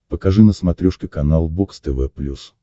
покажи на смотрешке канал бокс тв плюс